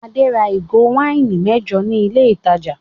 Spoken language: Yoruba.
Adé ra ìgò wáìnì mẹ́jọ ní ilé-ìtajà.